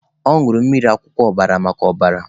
Ọ nụrụ mmiri akwụkwọ ọbara maka ọbara.